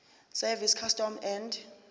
service customs and